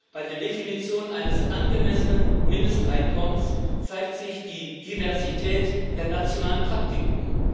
Bei der Definition eines angemessenen Mindesteinkommens zeigt sich die Diversität der nationalen Praktiken.